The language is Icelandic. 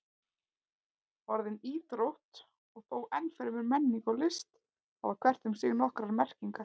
Orðin íþrótt og þó enn fremur menning og list hafa hvert um sig nokkrar merkingar.